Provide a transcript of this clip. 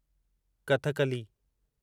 Kathakali